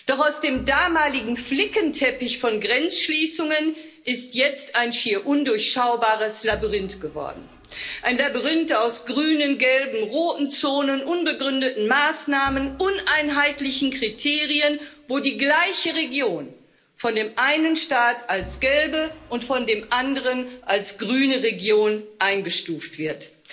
Doch aus dem damaligen Flickenteppich von Grenzschließungen ist jetzt ein schier undurchschaubares Labyrinth geworden. Ein Labyrinth aus grünen, gelben und roten Zonen, unbegründeten Maßnahmen, uneinheitlichen Kriterien, wo die gleiche Region von dem einen Staat als gelbe und von dem anderen als grüne Region eingestuft wird.